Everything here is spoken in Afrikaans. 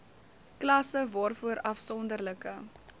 klasse waarvoor afsonderlike